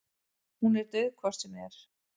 Hún er dauð hvort sem er.